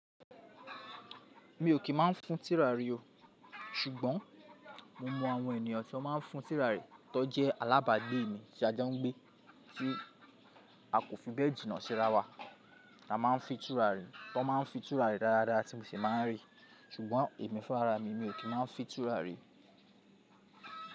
Mi ò kí n máa fin turàrí o, ṣùgbọ́n mo mọ àwọn ènìyàn tí wọ́n máa ń fin turàrí, tó jẹ́ alábàágbé mi tí a jẹ́ ń gbé, tí a kò fi bẹ́ẹ̀ jìnnà síra wa. A máa ń fin turàrí, tọ́n máa ń fi turàrí dáadáa tí mo sì máa ń rí, ṣùgbọ́n èmi fún ara mi, mi ò kí má fin turàrí.